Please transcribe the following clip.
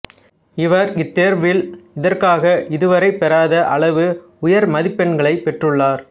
இவர் இத்தேர்வில் இதற்காக இதுவரை பெறாத அளவு உயர்மதிப்பெண்களைப் பெற்றுள்ளார்